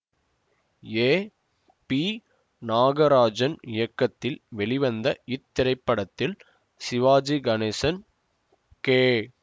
ஏ P Nagarajan இயக்கத்தில் வெளிவந்த இத்திரைப்படத்தில் சிவாஜி கணேசன் கே